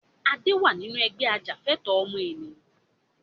Adé wá nínú Ẹgbẹ́ ajàfẹ̀tọ̀ ọmọnìyàn